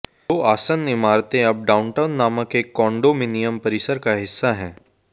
दो आसन्न इमारतों अब डाउनटाउन नामक एक कॉन्डोमिनियम परिसर का हिस्सा हैं